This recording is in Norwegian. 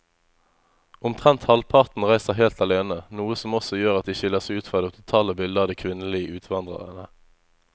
Omtrent halvparten reiser helt alene, noe som også gjør at de skiller seg ut fra det totale bildet av de kvinnelige utvandrerne.